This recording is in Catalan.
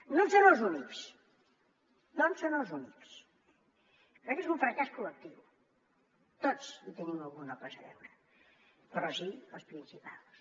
no en són els únics perquè és un fracàs col·lectiu tots hi tenim alguna cosa a veure però sí els principals